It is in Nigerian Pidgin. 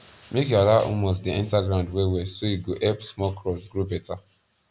make you allow humus dey enta ground well well so e go help small crops grow beta